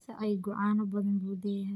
Sacaygu caano badan buu leeyahay.